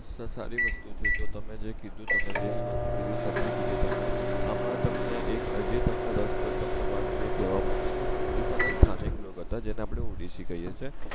સસારી વસ્તુ છે જો તમે જે કીધું તમે જે ભી વસ્તુ કીધી સાચ્ચી કીધી તમે આમાં તમને એક અજી તમને રસપ્રદ તમને વાત જો એ કેવા માંગવી છે ઓડીસ્સા ના સ્થાનિક લોક હતા જેને આપડે ઓડિસી કહીએ છીએ